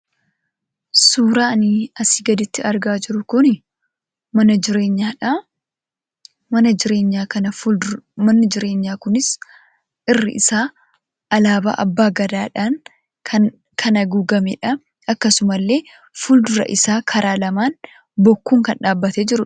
Suuraan kana gaditti argaa jirru kun mana jireenyaadha. Manni jireenyaa kunis irri isaa alaabaa abbaa gadaadhaan kan haguugamedha. Akkasuma illee fuuldurri isaa karaa lamaan bokkuun kan dhaabbatee jirudha.